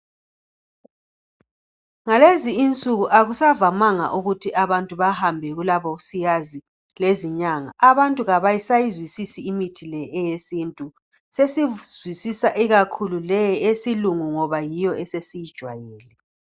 Ngalezi insuku akusavamanga ukuthi abantu bahambe kulabosiyazi lezinyanga. Abantu abasayizwisisi imithi le eyesintu, sesizwisisa ikakhulu leyi eyesilungu ngoba yiyo esesiyijwayele.